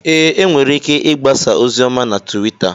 Ee, e nwere ike igbasa ozi ọma na Tuwita.